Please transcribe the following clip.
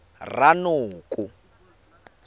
ranoko